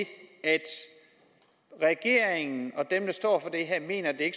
at regeringen og dem der står for det her mener at